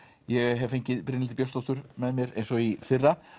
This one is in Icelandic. ég hef fengið Brynhildi Björnsdóttur með mér eins og í fyrra